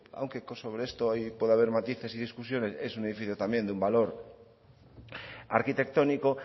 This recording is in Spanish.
aunque sobre esto puede haber matices y discusiones es un edificio con un valor arquitectónico